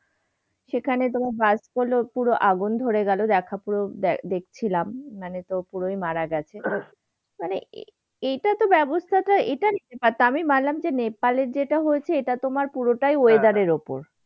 সেখানে তোমার bust করল্ম, পুরো আগুন ধরে গেল। দেখা পুরো দেখচিলাম মানে তো পূরোই মারা গেছে। মানে, এইটাতো ব্যবস্থাটা এটা নিতে পারছিনা। আমি মানলাম যে নেপালে যেটা হয়েছে সেটা তোমার পুরোটাই weather এর উপর।